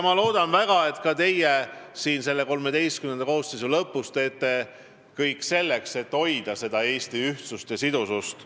Ma loodan väga, et ka teie siin selle XIII koosseisu ametiaja lõpus teete kõik selleks, et hoida Eesti ühtsust ja sidusust.